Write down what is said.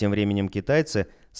тем временем китайцы